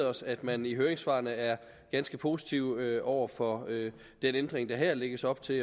os at man i høringssvarene er ganske positiv over for den ændring der her lægges op til